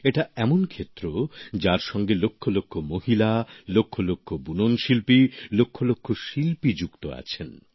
এটা এমন ক্ষেত্র যার সঙ্গে লক্ষলক্ষ মহিলা লক্ষলক্ষ বুননশিল্পী লক্ষলক্ষ শিল্পী যুক্ত আছেন